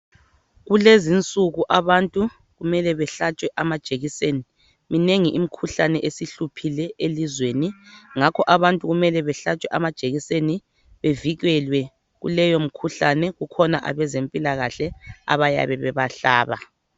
Kulezinsuku abantu kumele behlatshwe amajekiseni minengi imkhuhlane esihluphile elizweni ngakho abantu kumele behlatshwe amajekiseni bevikelwe kuleyo mikhuhlane khona abezempilakahle abayabe bebahlaba.